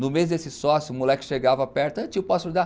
No mês desse sócio, o moleque chegava perto, ei tio eu posso ajudar?